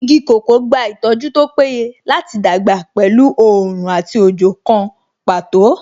Igi kòkó gba ìtọ́jú tó péye láti dàgbà pẹ̀lú oòrùn àti òjò kan pàtó